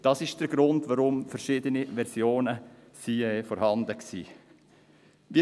Das ist der Grund, weshalb verschiedene Versionen vorhanden waren.